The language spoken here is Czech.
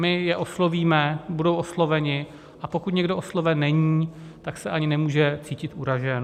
My je oslovíme, budou osloveni, a pokud nikdo osloven není, tak se ani nemůže cítit uražen.